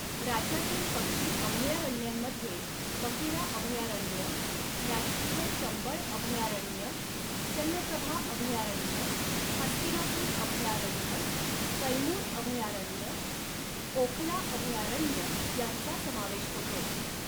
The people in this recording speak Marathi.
राज्यातील पक्षी अभयारण्यांमध्ये बखिरा अभयारण्य, राष्ट्रीय चंबळ अभयारण्य, चंद्रप्रभा अभयारण्य, हस्तिनापुर अभयारण्य, कैमुर अभयारण्य, ओखला अभयारण्य यांचा समावेश होतो.